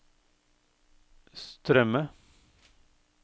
strømme